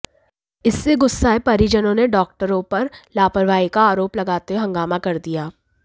इससे गुस्साए परिजनों ने डॉक्टरों पर लापरवाही का आरोप लगाते हुए हंगामा कर दिया